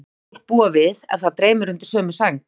Þetta má fólk búa við ef það dreymir undir sömu sæng.